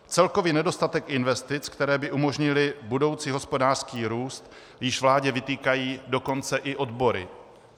Celkový nedostatek investic, které by umožnily budoucí hospodářský růst, již vládě vytýkají dokonce i odbory.